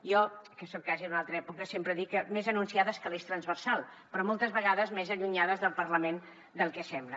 jo que soc quasi d’una altra època sempre dic que més anunciades que l’eix transversal però moltes vegades més allunyades del parlament del que sembla